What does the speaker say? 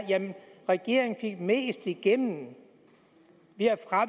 regeringen fik mest igennem